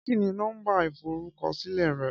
Kí ni nó̩mbà ìforúkosílè̩ re̩?